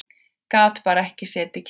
Gat bara ekki setið kyrr.